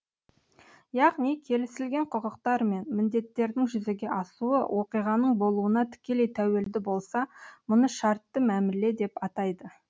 яғни келісілген құқықтар мен міндеттердің жүзеге асуы оқиғаның болуына тікелей тәуелді болса мұны шартты мәміле деп атайды